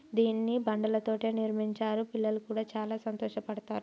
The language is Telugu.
దీన్ని బండలతో నిర్మించారు పిల్లలు కూడా చాలా సంతోషపడతారు.